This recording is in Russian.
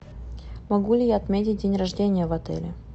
могу ли я отметить день рождения в отеле